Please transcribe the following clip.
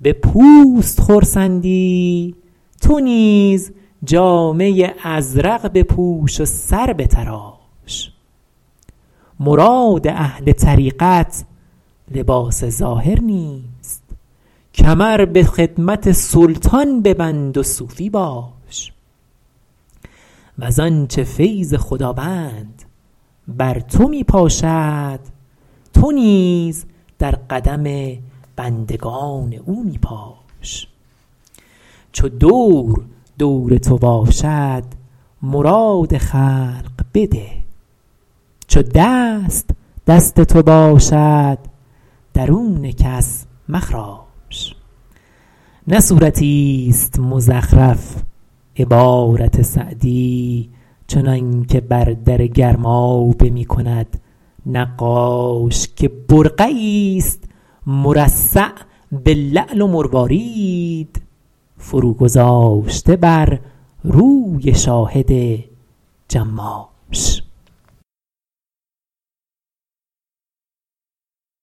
به پوست خرسندی تو نیز جامه ازرق بپوش و سر بتراش مراد اهل طریقت لباس ظاهر نیست کمر به خدمت سلطان ببند و صوفی باش وز آنچه فیض خداوند بر تو می پاشد تو نیز در قدم بندگان او می پاش چو دور دور تو باشد مراد خلق بده چو دست دست تو باشد درون کس مخراش نه صورتیست مزخرف عبارت سعدی چنانکه بر در گرمابه می کند نقاش که برقعیست مرصع به لعل و مروارید فرو گذاشته بر روی شاهد جماش